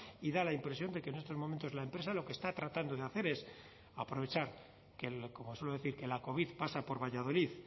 y da la impresión de que en estos momentos la empresa lo que está tratando de hacer es aprovechar como suelo decir que la covid pasa por valladolid